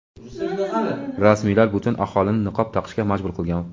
Rasmiylar butun aholini niqob taqishga majbur qilgan.